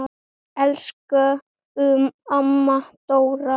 Elsku amma Dóra.